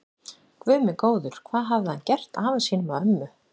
Guð minn góður, hvað hafði hann gert afa sínum og ömmu.